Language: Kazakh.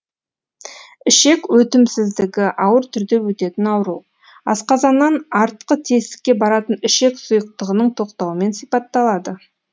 ішек өтімсіздігі ауыр түрде өтетін ауру асқазаннан артқы тесікке баратын ішек сұйықтығының тоқтауымен сипатталады